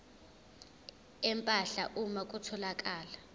empahla uma kutholakala